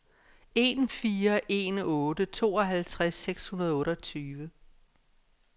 en fire en otte tooghalvtreds seks hundrede og otteogtyve